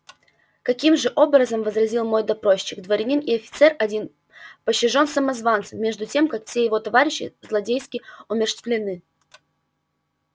каким же образом возразил мой допросчик дворянин и офицер один пощажён самозванцем между тем как все его товарищи злодейски умерщвлены